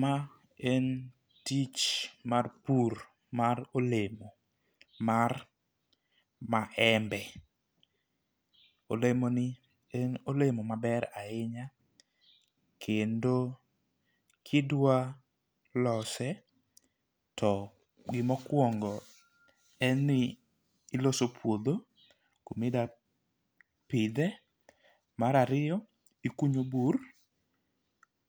Ma en tich mar pur mar olemo mar maembe . Olemo ni en olemo maber ahinya kendo kidwa lose, to gimokwongo en ni iloso puodho kumidwa pidhe. Mar ariyo ikunyo bur,